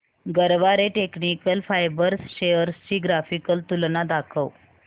Garware technical fibres shares ची graphical तुलना दाखव